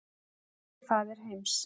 Elsti faðir heims